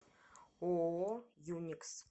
ооо юникс